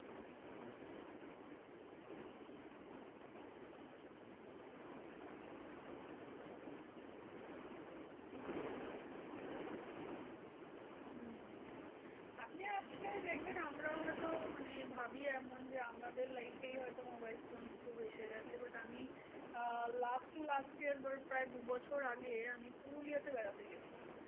আপনি আজকে দেখবেন আমরা হয়তো মানে ভাবি এমন যে আমাদের life এই হয়ত mobile phone খুব এসে গেছে। but আমি আহ last to last year মানে প্রায় দুবছর আগে আমি পুরুলিয়াতে বেড়াতে গিয়েছিলাম।